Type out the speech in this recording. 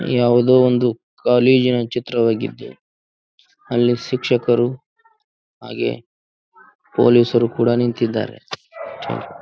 ಯಾವುದೋ ಒಂದು ಕಾಲೇಜಿನ ಚಿತ್ರವಾಗಿದ್ದು ಅಲ್ಲಿ ಶಿಕ್ಷಕರೂ ಹಾಗೇ ಪೋಲೀಸರು ಕೂಡ ನಿಂತಿದ್ದಾರೆ .